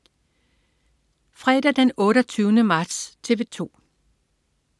Fredag den 28. marts - TV 2: